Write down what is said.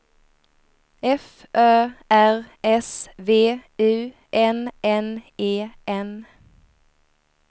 F Ö R S V U N N E N